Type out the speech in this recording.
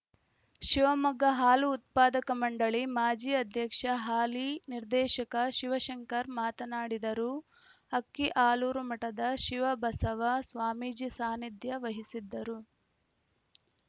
ಶಿವಮೊಗ್ಗ ಹಾಲು ಉತ್ಪಾದಕ ಮಂಡಳಿ ಮಾಜಿ ಅಧ್ಯಕ್ಷ ಹಾಲಿ ನಿರ್ದೇಶಕ ಶಿವಶಂಕರ್‌ ಮಾತನಾಡಿದರು ಅಕ್ಕಿಆಲೂರು ಮಠದ ಶಿವಬಸವ ಸ್ವಾಮೀಜಿ ಸಾನಿಧ್ಯ ವಹಿಸಿದ್ದರು